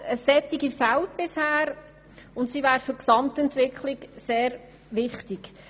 Eine solche fehlt bisher, und sie ist für die Gesamtentwicklung sehr wichtig.